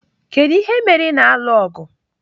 Kedu ihe mere ị na-alụ ọgụ?